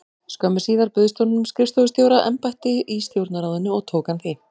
Skömmu síðar bauðst honum skrifstofustjóra- embætti í Stjórnarráðinu og tók hann því.